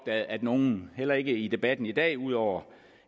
at nogen heller ikke i debatten i dag ud over